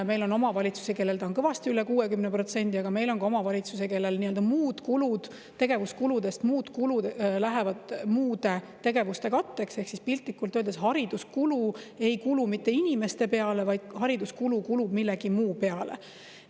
Meil on omavalitsusi, kellel see on kõvasti üle 60%, aga meil on ka omavalitsusi, kellel tegevuskuludest läheb nii-öelda muude kuludena muude tegevuste katteks, ehk siis piltlikult öeldes hariduskulu ei kulu mitte inimeste peale, vaid hariduskulu kulub millegi muu peale.